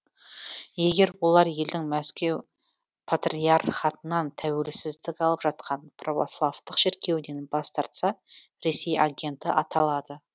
егер олар елдің мәскеу патриархатынан тәуелсіздік алып жатқан православтық шіркеуінен бас тартса ресей агенті аталады